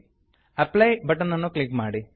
apply apply button ಅನ್ನು click ಮಾಡಿ